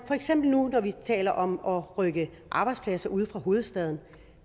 for eksempel taler om at rykke arbejdspladser ud fra hovedstaden